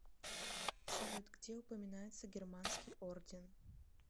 салют где упоминается германский орден